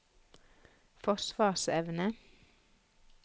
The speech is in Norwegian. forsvarsevne